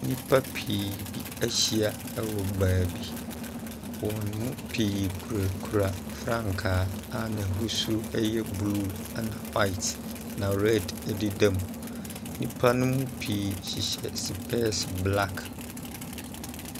Nnipa pii bi ahyia wɔ baabi. Wɔn mu pii kurakura frankaa a n'ahosuo yɛ blue, ɛna white, na red deda mu. Nnipa no mu pii hyehyɛ sopɛɛse black.